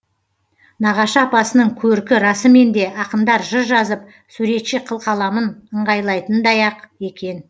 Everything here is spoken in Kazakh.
нағашы апасының көркі расымен де ақындар жыр жазып суретші қылқаламын ыңғайлайтындай ақ екен